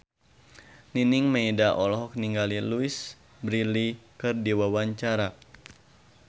Nining Meida olohok ningali Louise Brealey keur diwawancara